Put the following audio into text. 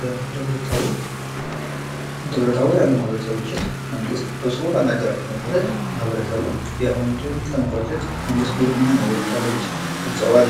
በደብረታቦር ደብረታቦር ያሉ ማህበረሰቦችን መንግስት ሰብስቦ ባናገራቸው መሠረት ማህበረሰቡ የአሁኑን ትውልድ ለመቋጨት መንግስት ጉልህ ሚና መወጣት አለበት ሲሉ ገልጸዋል